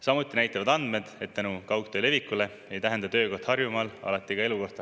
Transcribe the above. Samuti näitavad andmed, et tänu kaugtöö levikule ei tähenda töökoht Harjumaal alati ka elukohta.